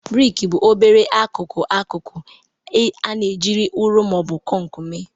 Briki bụ obere akụkụ akụkụ anọ ejiri ụrọ ma ọ bụ kọnk mee.